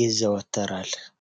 ይዘወተራል?